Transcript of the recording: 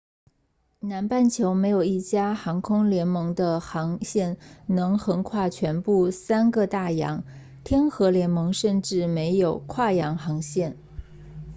南半球没有一家航空联盟的航线能横跨全部三个大洋天合联盟甚至没有跨洋航线